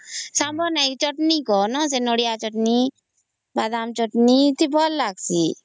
ସାମ୍ବର ନାହିଁ ସେ ଚଟଣି କାହା ସେ ନଡ଼ିଆ ଚଟଣି ବାଦାମ ଚଟଣି ଏ ଭଲ ଲାଗିଁସି